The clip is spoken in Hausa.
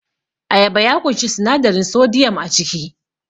Ayaba ya ƙunshi sinadarin sodiyam a ciki